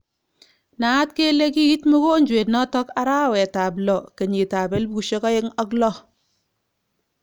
Naaat kele kiit mogonjwet notok arawet ap 6 2006.